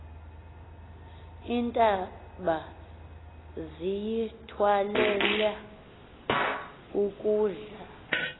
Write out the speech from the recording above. iintaba ziyithwalela ukudla